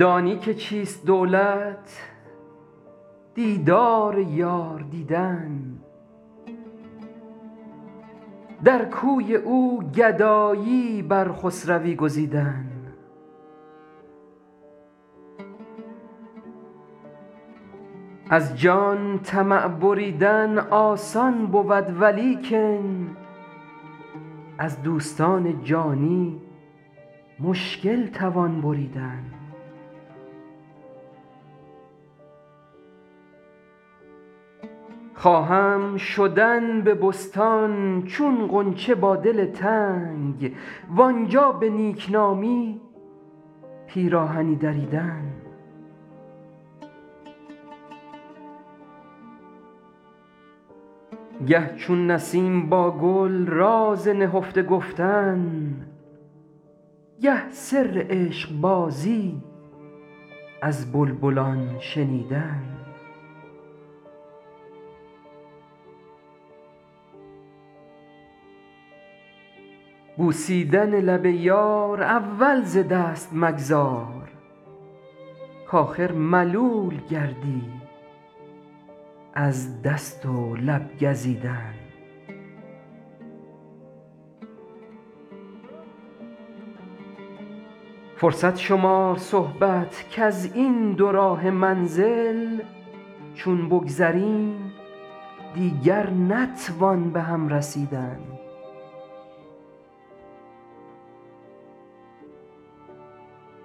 دانی که چیست دولت دیدار یار دیدن در کوی او گدایی بر خسروی گزیدن از جان طمع بریدن آسان بود ولیکن از دوستان جانی مشکل توان بریدن خواهم شدن به بستان چون غنچه با دل تنگ وآنجا به نیک نامی پیراهنی دریدن گه چون نسیم با گل راز نهفته گفتن گه سر عشق بازی از بلبلان شنیدن بوسیدن لب یار اول ز دست مگذار کآخر ملول گردی از دست و لب گزیدن فرصت شمار صحبت کز این دوراهه منزل چون بگذریم دیگر نتوان به هم رسیدن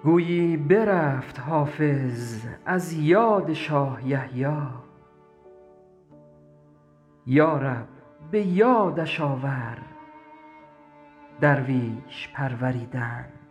گویی برفت حافظ از یاد شاه یحیی یا رب به یادش آور درویش پروریدن